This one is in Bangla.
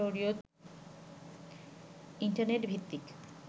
ইন্টারনেট ভিত্তিক